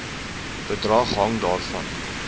bedrag hang daarvan